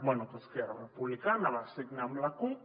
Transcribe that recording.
bé que esquerra republicana va signar amb la cup